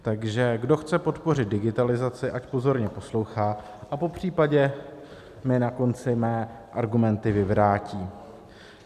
Takže kdo chce podpořit digitalizaci, ať pozorně poslouchá a popřípadě mi na konci mé argumenty vyvrátí.